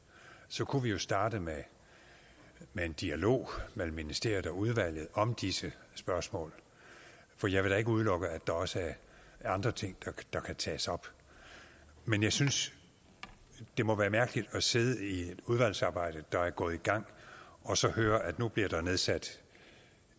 så kunne vi jo starte med en dialog mellem ministeriet og udvalget om disse spørgsmål for jeg vil da ikke udelukke at der også er andre ting der kan tages op men jeg synes det må være mærkeligt at sidde i et udvalgsarbejde der er gået i gang og så høre at nu bliver der nedsat